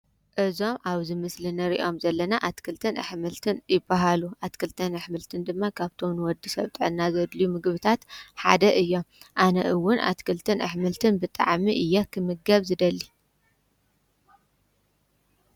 እዞም ኣብዝ ምስሊ ነ ሪዖም ዘለና ኣትክልትን ኣኅምልትን ይበሃሉ ኣትክልተን ኣኅምልትን ድማ ካብቶምን ወዲ ሰብጠና ዘድሊ ምግብታት ሓደ እዮም ኣነእውን ኣትክልትን ኣኅምልትን ብጠዓሚ እያ ኽምገብ ዝደሊ።